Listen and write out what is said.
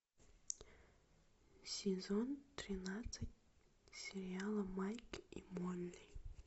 сезон тринадцать сериала майк и молли